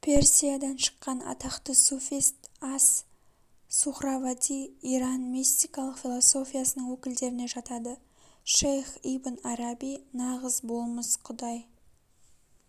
персиядан шыққан атақты суфист ас-сухравади иран мистикалық философиясының өкілдеріне жатады шейх ибн араби нағыз болмыс құдай